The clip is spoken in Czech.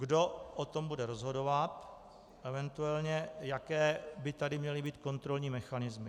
Kdo o tom bude rozhodovat, eventuálně jaké by tady měly být kontrolní mechanismy.